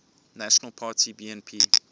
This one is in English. national party bnp